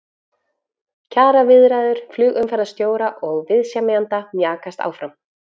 Kjaraviðræður flugumferðarstjóra og viðsemjenda mjakast áfram